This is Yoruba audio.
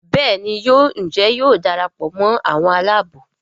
Béèni yóò Njé yóò darapọ̀ mọ àwọn Àlàabò.